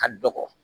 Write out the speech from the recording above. Ka dɔgɔ